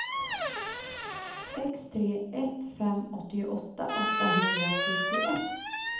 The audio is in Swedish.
sex tre ett fem åttioåtta åttahundrafyrtioett